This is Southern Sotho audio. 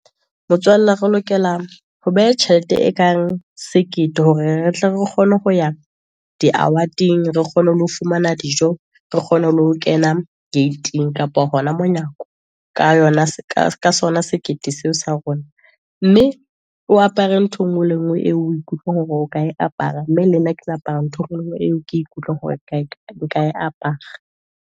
Motswalla re lokela ho beha tjhelete e kang sekete, hore re tle re kgone ho ya di award-eng, re kgone ho fumana dijo, re kgone ho kena gate-ing, kapa hona monyako, ka sona sekete seo sa rona. Mme o apare ntho e nngwe le e ngwe eo o ikutlwang hore o ka e apara, mme le nna ke tla apara ntho engwe le e ngwe eo ke ikutlwang hore nka e apara.